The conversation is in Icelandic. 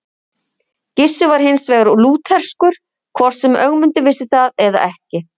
Gissur var hins vegar lútherskur, hvort sem Ögmundur vissi það eða ekki.